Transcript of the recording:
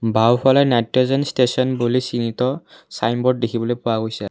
বাওঁফালে nitrogen station বুলি চিহ্নিত ছাইনবোৰ্ড দেখিবলৈ পোৱা গৈছে।